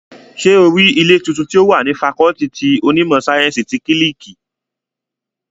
Ṣé o rí ilé tuntun tí ó wà ní fakọọti ti onímọ̀ sáyẹ́ǹsì ti kílíìkì?